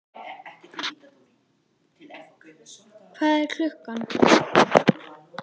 Hvað er klukkan?